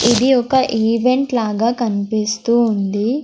ఇది ఒక ఈవెంట్ లాగా కన్పిస్తూ ఉంది.